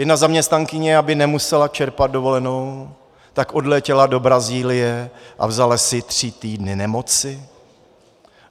Jedna zaměstnankyně, aby nemusela čerpat dovolenou, tak odletěla do Brazílie a vzala si tři týdny nemoci.